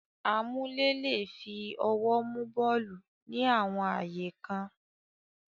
Amúlé le è fi ọwọ́ mú bọ́ọ̀lù ní àwọn ààyè kan.